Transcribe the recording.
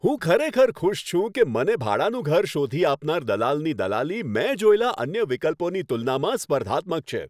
હું ખરેખર ખુશ છું કે મને ભાડાનું ઘર શોધી આપનાર દલાલની દલાલી મેં જોયેલા અન્ય વિકલ્પોની તુલનામાં સ્પર્ધાત્મક છે.